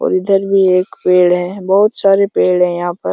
और इधर भी एक पेड़ है बहुत सारे पेड़ है यहां पर।